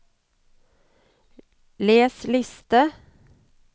les liste